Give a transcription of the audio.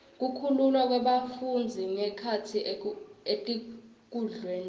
kukhululwa kwebafundzi ngekhatsi etikudlweni